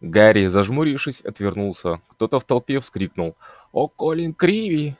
гарри зажмурившись отвернулся кто-то в толпе вскрикнул о колин криви